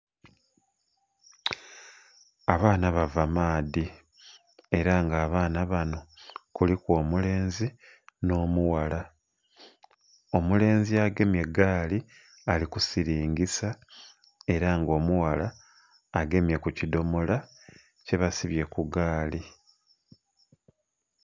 Abaana bava maadhi era nga abaana banho kuliku omulenzi nho mughala, omulenzi agemye gaali ali kusiringisa era nga omughala agemye ku kidomola kye basibye ku gaali.